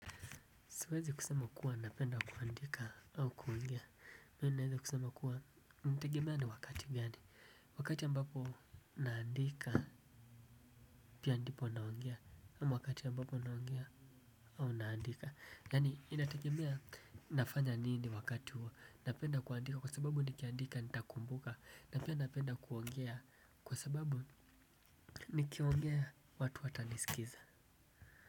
Siwezi kusema kuwa napenda kuandika au kuongea. Mimi naweza kusema kuwa inategemea ni wakati gani. Wakati ambapo naandika pia ndipo naongea ama wakati ambapo naongea au naandika. Yani inategemea nafanya nini wakati huo. Napenda kuandika kwa sababu nikiandika nitakumbuka. Napenda kuongea kwa sababu nikiongea watu watanisikiza.